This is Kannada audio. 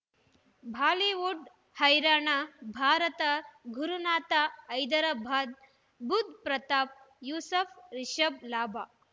ಬಾಲಿವುಡ್ ಹೈರಾಣ ಭಾರತ ಗುರುನಾಥ ಹೈದರಾಬಾದ್ ಬುಧ್ ಪ್ರತಾಪ್ ಯೂಸುಫ್ ರಿಷಬ್ ಲಾಭ